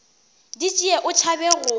di tšee o tšhaba go